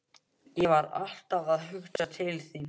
Ég var alltaf að hugsa til þín.